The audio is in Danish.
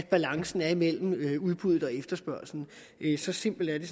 balancen er mellem udbud og efterspørgsel så simpelt er det